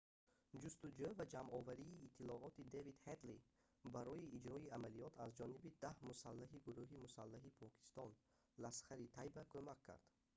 ҷустуҷӯ ва ҷамъоварии иттилооти дэвид ҳедли барои иҷрои амалиёт аз ҷониби 10 мусаллаҳи гурӯҳи мусаллаҳи покистон ласхари тайба кумак кард